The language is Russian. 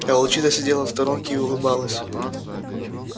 а волчица сидела в сторонке и улыбалась